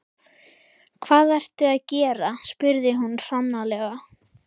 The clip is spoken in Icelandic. Hvað ertu að gera? spurði hún hranalega.